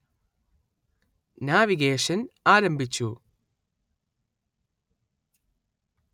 navigation ആരംഭിച്ചു